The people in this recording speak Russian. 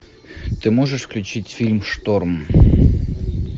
ты можешь включить фильм шторм